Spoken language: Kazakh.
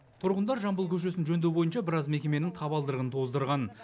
тұрғындар жамбыл көшесін жөндеу бойынша біраз мекеменің табалдырығын тоздырған